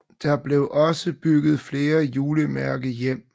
Der blev også bygget flere julemærkehjem